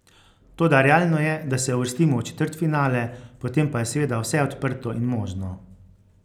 Toda realno je, da se uvrstimo v četrtfinale, potem pa je seveda vse odprto in možno.